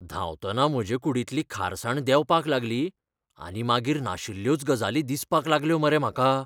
धांवतना म्हजे कुडींतली खारसाण देंवपाक लागली, आनी मागीर नाशिल्ल्योच गजाली दिसपाक लागल्यो मरे म्हाका.